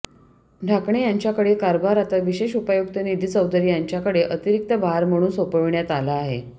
ढाकणे यांच्याकडील कारभार आता विशेष उपायुक्त निधी चौधरी यांच्याकडे अतिरिक्त भार म्हणून सोपविण्यात आला आहे